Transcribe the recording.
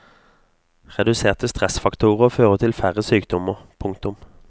Reduserte stressfaktorer fører til færre sykdommer. punktum